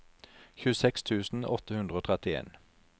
tjueseks tusen åtte hundre og trettien